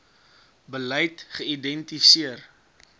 beleid geïdenti seer